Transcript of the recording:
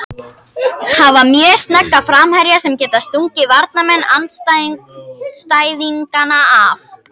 Hafa mjög snögga framherja sem geta stungið varnarmenn andstæðinganna af.